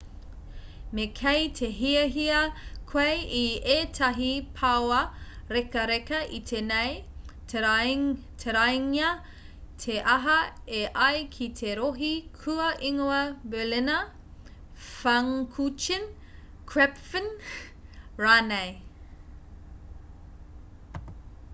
me kei te hiahia koe i ētahi paoa rekareka iti nei taraingia te aha e ai ki te rohe kua ingoa berliner pfannkuchen krapfen rānei